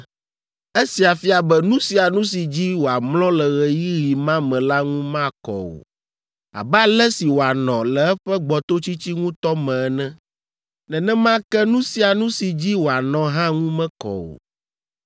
Esia fia be nu sia nu si dzi wòamlɔ le ɣeyiɣi ma me la ŋu makɔ o, abe ale si wòanɔ le eƒe gbɔtotsitsi ŋutɔ me ene. Nenema ke nu sia nu si dzi wòanɔ hã ŋu mekɔ o.